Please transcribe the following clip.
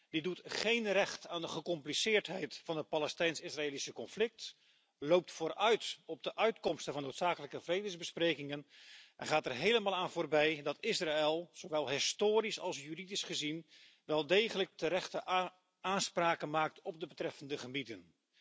Die doet geen recht aan de gecompliceerdheid van het Palestijns Israëlische conflict, loopt vooruit op de uitkomsten van noodzakelijke vredesbesprekingen en gaat er helemaal aan voorbij dat Israël zowel historisch als juridisch gezien wel degelijk terechte aanspraken maakt op de betreffende gebieden.